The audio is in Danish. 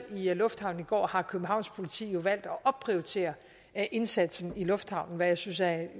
i lufthavnen i går har københavns politi jo valgt at opprioritere indsatsen i lufthavnen hvad jeg synes er